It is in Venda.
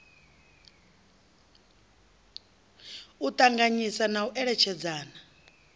u ṱanganyisa na u eletshedzana